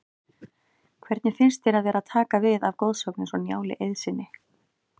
Hvernig finnst þér að vera að taka við af goðsögn eins og Njáli Eiðssyni?